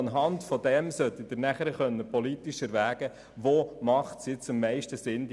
Darauf basierend sollten Sie politisch erwägen können, welche Beträge am meisten Sinn machen.